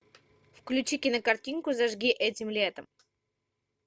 включи кинокартинку зажги этим летом